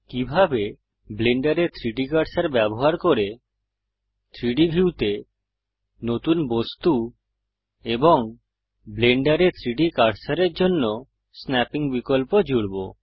কিভাবে ব্লেন্ডারে 3ডি কার্সার ব্যবহার করে 3ডি ভিউতে নতুন বস্তু এবং ব্লেন্ডারে 3ডি কার্সারের জন্য স্নাপ্পিং বিকল্প জুড়ব